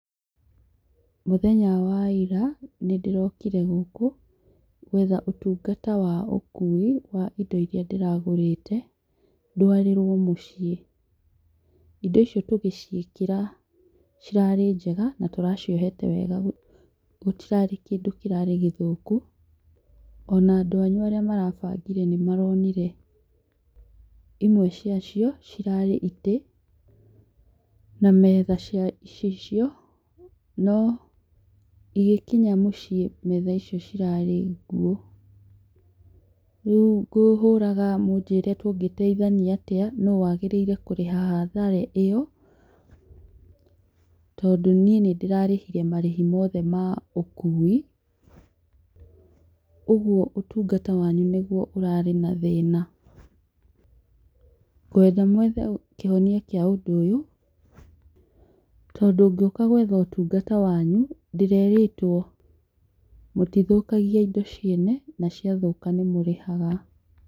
Mũthenya wa ira, nĩndĩrokire gũkũ, gwetha ũtungata wa ũkuui wa indo irĩa ndĩragũrĩte, ndwarĩrwo mũciĩ. Indo icio tũgĩciĩkĩra, cirarĩ njega na tũraciohete wega gũtirarĩ kĩndũ kĩrarĩ gĩthũku ona andũ anyu arĩa marabangire nĩ maronire. Imwe cia cio cirarĩ itĩ na metha cia icicio no igĩkinya mũciĩ metha icio cirarĩ nguũ. Rĩu ngũhũraga mũnjĩre tũngĩteithania atĩa no wagĩrĩire kũrĩha hathara ĩyo tondũ niĩ nĩ ndĩrarĩhire marĩhi mothe ma ũkuui, ũguo ũtungata wanyu nĩguo ũrarĩ na thĩna. Ngwenda mwethe kĩhonia kĩa ũndũ ũyũ, tondũ ngĩũka gwetha ũtungata wanyu, ndĩrerĩtwo mũtithũkagia indo ciene na ciathũka nĩ mũrĩhaga.